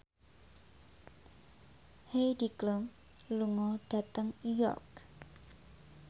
Heidi Klum lunga dhateng York